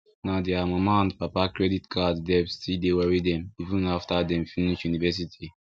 na their mama and papa credit card debt still dey worry dem even after dem finish university